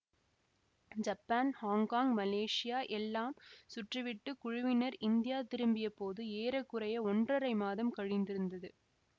Japan Hong Kong Malaysia எல்லாம் சுற்றிவிட்டுக் குழுவினர் இந்தியா திரும்பிய போது ஏற குறைய ஒன்றறை மாதம் கழிந்திருந்தது